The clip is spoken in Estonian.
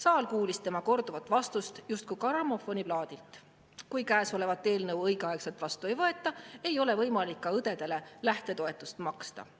Saal kuulis tema korduvat vastust justkui grammofoniplaadilt: kui käesolevat eelnõu õigeaegselt vastu ei võeta, ei ole võimalik ka õdedele lähtetoetust maksta.